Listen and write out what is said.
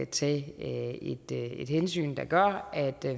tage et hensyn der gør at